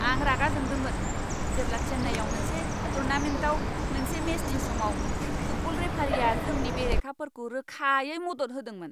आं रागा जोंदोंमोन जेब्ला चेन्नाईआव मोनसे टूर्नामेन्टाव मोनसे मेचनि समाव फुटबल रेफारिया जोंनि बेरेखाफोरखौ रोखायै मदद होदोंमोन।